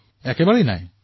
সেয়া হোৱা নাছিল